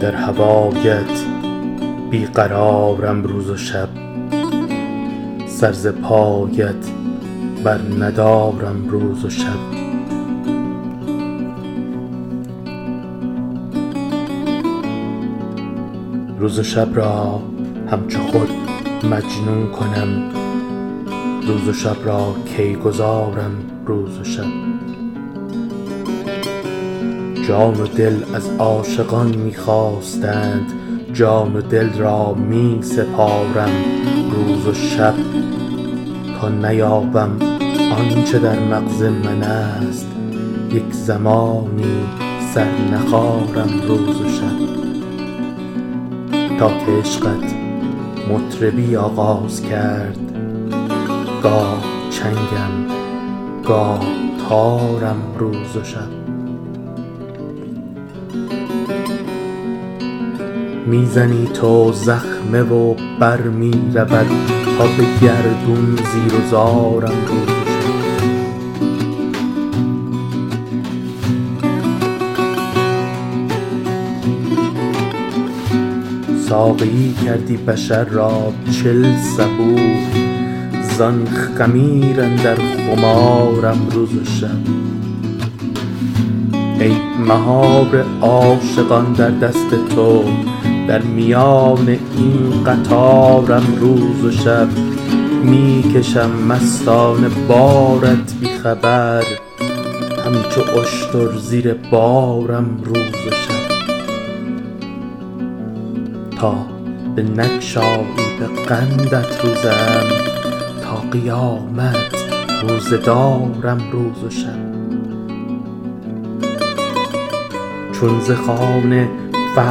در هوایت بی قرارم روز و شب سر ز پایت برندارم روز و شب روز و شب را همچو خود مجنون کنم روز و شب را کی گذارم روز و شب جان و دل از عاشقان می خواستند جان و دل را می سپارم روز و شب تا نیابم آن چه در مغز منست یک زمانی سر نخارم روز و شب تا که عشقت مطربی آغاز کرد گاه چنگم گاه تارم روز و شب می زنی تو زخمه و بر می رود تا به گردون زیر و زارم روز و شب ساقیی کردی بشر را چل صبوح زان خمیر اندر خمارم روز و شب ای مهار عاشقان در دست تو در میان این قطارم روز و شب می کشم مستانه بارت بی خبر همچو اشتر زیر بارم روز و شب تا بنگشایی به قندت روزه ام تا قیامت روزه دارم روز و شب چون ز خوان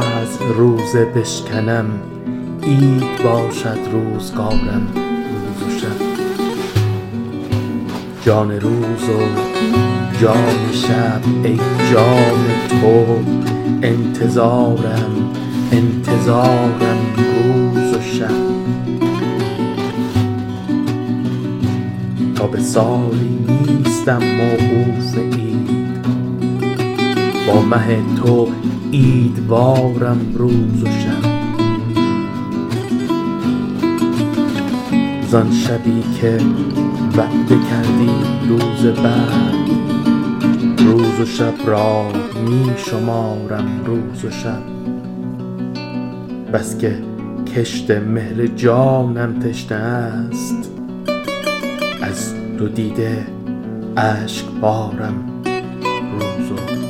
فضل روزه بشکنم عید باشد روزگارم روز و شب جان روز و جان شب ای جان تو انتظارم انتظارم روز و شب تا به سالی نیستم موقوف عید با مه تو عیدوارم روز و شب زان شبی که وعده کردی روز وصل روز و شب را می شمارم روز و شب بس که کشت مهر جانم تشنه است ز ابر دیده اشکبارم روز و شب